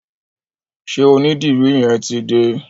Ṣé onídìrí yẹn ti dé?